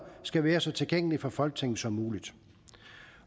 skal være så tilgængelige for folketinget som muligt